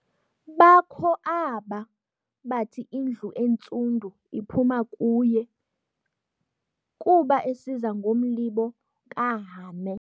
Bakho aaba bathi indlu eNtsundu iphuma kuye, kuba esiza ngomlibo kaHame.